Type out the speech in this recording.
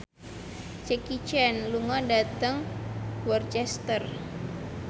Jackie Chan lunga dhateng Worcester